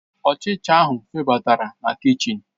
Ọchịcha ahụ febatara na kichin.